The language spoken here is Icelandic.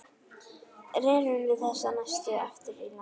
Rerum við þessu næst aftur í land.